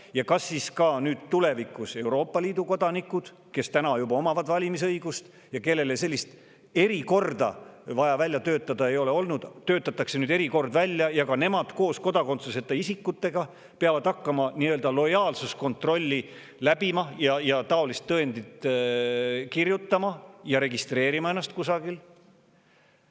Ja kas siis neile Euroopa Liidu kodanikele, kes täna juba omavad valimisõigust ja kellele sellist erikorda ei ole olnud vaja välja töötada, töötatakse tulevikus erikord välja ja nad peavad hakkama koos kodakondsuseta isikutega läbima nii-öelda lojaalsuskontrolli ja kirjutama taolist tõendit ja registreerima ennast kusagil?